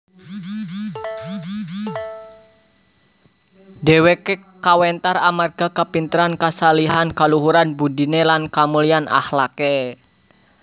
Dheweke kawentar amarga kapinteran kashalihan kaluhuran budine lan kamulyan akhlake